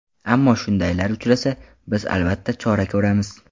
Ammo shundaylar uchrasa, biz, albatta, chora ko‘ramiz.